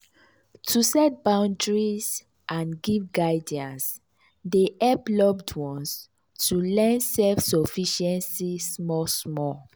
to set boundaries and give guidance dey hep loved ones to learn self-sufficiency small small.